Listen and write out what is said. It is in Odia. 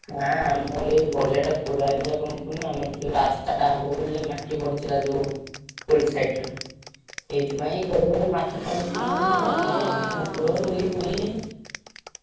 ନାଁ ଆମର ଏଇ ପଡିଆ ଟା ଆମର ଯୋଉ ରାସ୍ତା ଟା ହବ ବୋଲି ମାଟି ପଡିଥିଲା ଯୋଉ roadside ରେ ସେଇଥିପାଇଁ ମାଛ ଛାଡ଼ୁଛ ଆମେ ଦିଟା ଭକୁର, ରୋହି, ଫୋଇ,